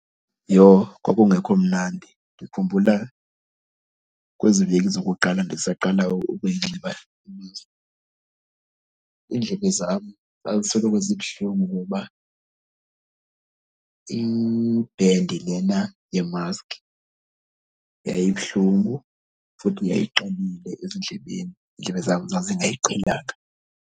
Yho, kwakungekho mnandi! Ndikhumbula kwezi veki zokuqala ndisaqala ukuyinxiba imaski. Iindlebe zam zazisoloko zibuhlungu ngoba i-band lena yemaski yayibuhlungu futhi yayiqinile ezindlebeni, iindlebe zam zazingayiqhelanga.